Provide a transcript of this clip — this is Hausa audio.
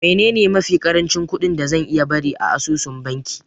Menene mafi ƙarancin kuɗi da zan iya bari a asusun banki?